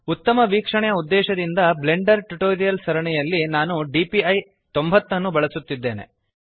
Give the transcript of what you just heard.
ಉತ್ತಮ ವೀಕ್ಷಣೆಯ ಉದ್ದೇಶದಿಂದ ಬ್ಲೆಂಡರ್ ಟ್ಯುಟೋರಿಯಲ್ಸ್ ನ ಸರಣಿಯಲ್ಲಿ ನಾನು DPI90 ಅನ್ನು ಬಳಸುತ್ತಿದ್ದೇನೆ